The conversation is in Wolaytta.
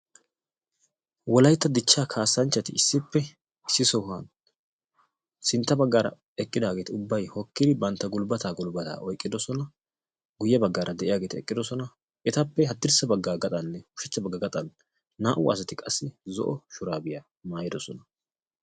Wolaytta dichchaa kassanchchati issippe issi sohuwan sintta baggaara eqqidaageeti ubbaykka hokkidi bantta gulbbataa gulbbataa oyqqiddosona guy baggaara de'iyageeti eqqiddossona etappe haddirssa bagga gaxxanne ushshachcha bagga gaxxan naa"u asati qassi zo"o shuraabiya maayiddosona.